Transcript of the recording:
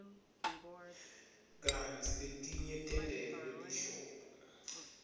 kantsi letinye tentelwe lihlobo